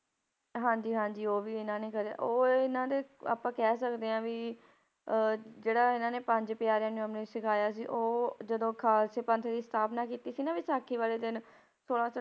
ਹਾਂਜੀ ਹਾਂਜੀ ਉਹ ਵੀ ਇਹਨਾਂ ਨੇ ਕਰੇ ਉਹ ਇਹਨਾਂ ਦੇ ਆਪਾਂ ਕਹਿ ਸਕਦੇ ਹਾਂ ਵੀ ਅਹ ਜਿਹੜਾ ਇਹਨਾਂ ਨੇ ਪੰਜ ਪਿਆਰਿਆਂ ਨੂੰ ਅੰਮ੍ਰਿਤ ਛਕਾਇਆ ਸੀ, ਉਹ ਜਦੋਂ ਖਾਲਸੇ ਪੰਥ ਦੀ ਸਥਾਪਨਾ ਕੀਤੀ ਸੀ ਨਾ ਵਿਸਾਖੀ ਵਾਲੇ ਦਿਨ ਛੋਲਾਂ ਸੌ